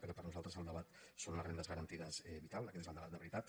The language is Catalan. però per nosaltres el debat són les rendes garantides vitals aquest és el debat de veritat